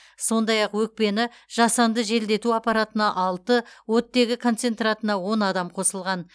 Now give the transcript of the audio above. сондай ақ өкпені жасанды желдету аппаратына алты оттегі концентратына он адам қосылған